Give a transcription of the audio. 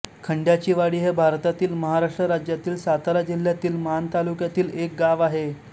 खंड्याचीवाडी हे भारतातील महाराष्ट्र राज्यातील सातारा जिल्ह्यातील माण तालुक्यातील एक गाव आहे